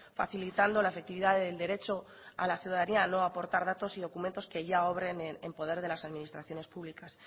facilitando la efectividad del derecho a la ciudadanía no aportar datos y documentos que ya obren en poder de las administraciones públicas